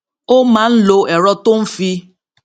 ó máa ń lo èrọ tó ń fi